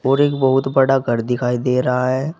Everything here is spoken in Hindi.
और एक बहुत बड़ा घर दिखाई दे रहा है।